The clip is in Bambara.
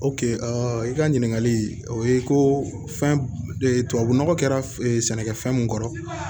i ka ɲininkali o ye ko fɛn nɔgɔ kɛra sɛnɛkɛfɛn mun kɔrɔ